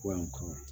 Kɔɲɔn kɔ